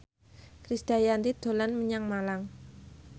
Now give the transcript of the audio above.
Krisdayanti dolan menyang Malang